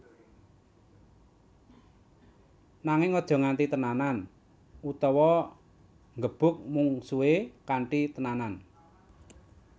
Nanging aja nganti tenanan utawa nggebug mungsuhe kanthi tenanan